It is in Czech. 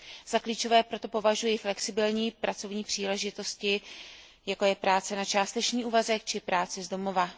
Za klíčové proto považuji flexibilní pracovní příležitosti, jako je práce na částečný úvazek či práce z domova.